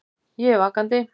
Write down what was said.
Ég er vakandi.